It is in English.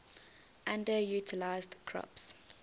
underutilized crops